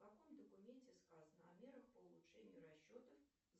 в каком документе сказано о мерах по улучшению расчетов